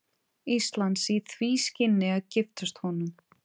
Íslands í því skyni að giftast honum.